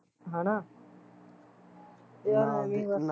ਹੈਨਾ ਯਾਰ ਏਵਈ ਬਸ